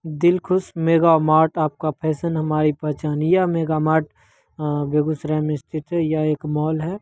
Dilkhush mega mart आपका fashion हमारी पहचान है। यह मेगा मार्ट अ बेगुसराये मे स्थित हैं। यह एक माल हैं।